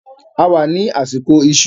A wà ní àsìkò ìṣù